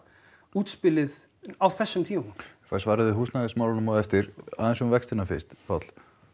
útspilið á þessum tímapunkti fæ svarið um húsnæðismálin á eftir aðeins um vextina fyrst Páll